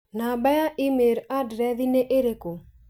namba ya i-mīrū andirethi nĩ ĩrĩkũ?